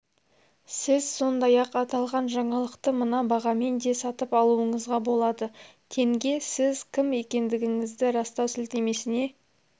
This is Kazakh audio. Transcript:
сіз сондай-ақ аталған жаңалықты мына бағамен де сатып алуыңызға болады тенге сіз кім екендігіңізді растау сілтемесіне